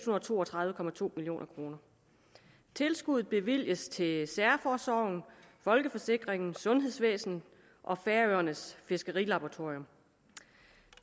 og to og tredive million kroner tilskuddet bevilges til særforsorgen folkeforsikringen sundhedsvæsenet og færøernes fiskerilaboratorium